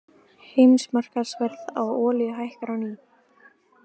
Heimsmarkaðsverð á olíu hækkar á ný